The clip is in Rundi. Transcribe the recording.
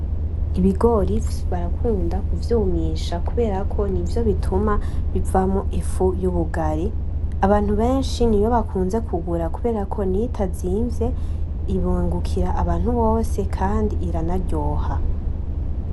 Ibigori barakunda kuvyumisha kuberako nivyo bituma bivamwo ifu yubugari , abantu benshi niyo bakunze kugura kuberako niyo itazimvye irungukira abantu bose kandi iranaryoha.